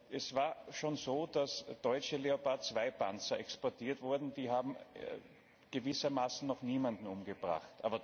Es war schon so, dass deutsche Leopard II Panzer exportiert wurden die haben gewissermaßen noch niemanden umgebracht.